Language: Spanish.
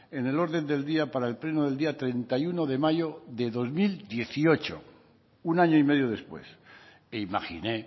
en el orden del día para el pleno del día treinta y uno de mayo de dos mil dieciocho un año y medio después e imaginé